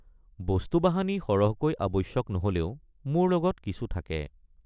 বস্তুবাহানি সৰহকৈ আৱশ্যক নহলেও মোৰ লগত কিছু থাকে।